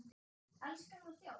Elskar hann að þjást?